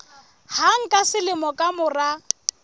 hang ka selemo ka mora